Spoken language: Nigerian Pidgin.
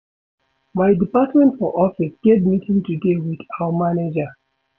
My department for office get meeting today wit our manager.